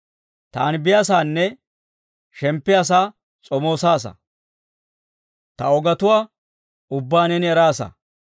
Taani biyaasaanne, shemppiyaa sa'aa s'omoosaasa; ta ogetuwaa ubbaa neeni eraasa.